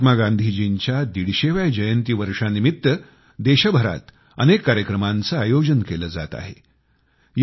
महात्मा गांधीजींच्या दीडशेव्या जयंती वर्षानिमित्त देशभरात अनेक कार्यक्रमांचे आयोजन केले जात आहे